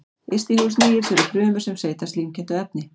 Yst í húð snigilsins eru frumur sem seyta slímkenndu efni.